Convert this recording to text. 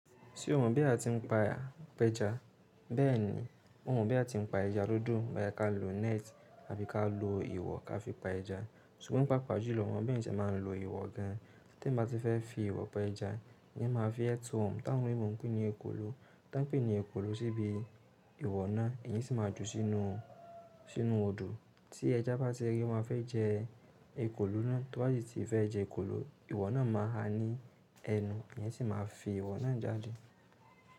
Ṣé o mọ̀ bí a ti ń pa pẹja? Bẹ́ẹ̀ni, mo mọ̀ bí a ti ń pa ẹja lódò. Bá yẹ ká lo net àfi ká lo ìwọ̀ ká fi pa ẹja. Ṣùgbọ́n pàápàá jù lọ wọ́n mọ bí wọn ṣe máa ń lo ìwọ̀ gan an. Tí ẹ̀mi bá ti fẹ́ fi ìwọ̀ pẹ ẹja, ìyẹn máa fi ẹ tó ọ̀n. Ti àwọn olóyinbó ń pè ní ekòló. Tá ń pè ní ekòló síbí ṣùgbọ́n pàápàá jù lọ wọ́n mọ bí wọn ṣe máa ń lo ìwọ̀ gan an. Tí ẹja bá ti rí i wọn fẹ́ jẹ ekòló náà, tó bá ti ti fẹ́ jẹ ekòló, ìwọ̀ náà máa ha ní ẹnu, ẹ̀yìn sì máa fi ìwọ̀ náà jáde.